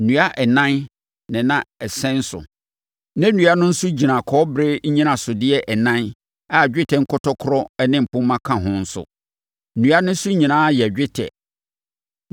Nnua ɛnan na na ɛsɛn so, na nnua no nso gyina kɔbere nnyinasodeɛ ɛnan a dwetɛ nkɔtɔkorɔ ne mpomma ka ho nso. Nnua no so nyinaa yɛ dwetɛ.